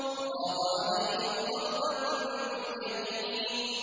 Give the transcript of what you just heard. فَرَاغَ عَلَيْهِمْ ضَرْبًا بِالْيَمِينِ